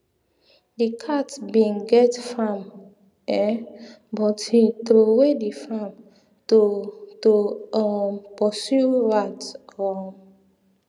di cat bin get farm um but him trowe the farm to to um pursue rat um